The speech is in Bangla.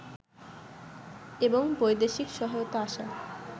এবং বৈদেশিক সহায়তা আসা